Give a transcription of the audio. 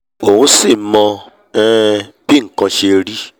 òun sì mọ um bí nkan ṣe rí